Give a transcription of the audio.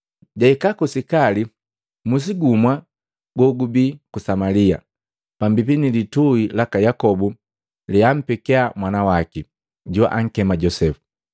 Jahika ku Sikali musi gumu gogubii ku Samalia, pambipi nilituhi laka Yakobo leampeki mwana waki, joakema Josepu.